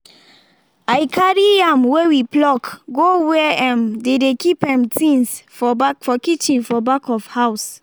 i carry yam wey we pluck go where um dey dey keep um things for kitchen for back of house